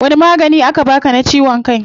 Wani magani aka baa ka na ciwon kai?